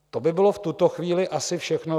To by bylo v tuto chvíli asi všechno.